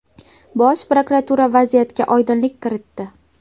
Bosh prokuratura vaziyatga oydinlik kiritdi.